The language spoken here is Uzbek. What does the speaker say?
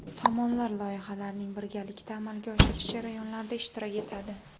Tomonlar loyihalarning birgalikda amalga oshirish jarayonlarida ishtirok etadi.